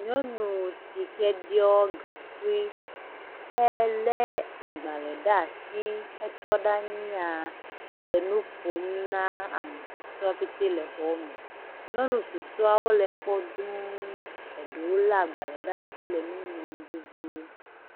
Nyɔnu si he ɖiɔ gaŋkui he lé agbalē ɖe asi, he tɔ ɖe anyia, le nu ƒom na amesɔewo pete le xɔme, nyɔnu susɔewo le kpɔ dū, eɖowo lé agbalē ɖe asi le nu ŋlɔm vevie.